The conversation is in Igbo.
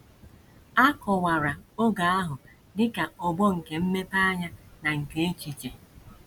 A kọwara oge ahụ dị ka ọgbọ nke mmepeanya na nke echiche..